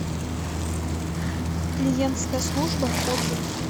клиентская служба отзывы